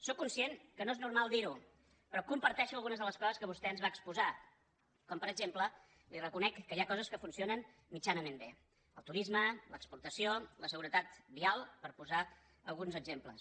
sóc conscient que no és normal dirho però comparteixo algunes de les coses que vostè ens va exposar com per exemple li reconec que hi ha coses que funcionen mitjanament bé el turisme l’exportació la seguretat vial per posar alguns exemples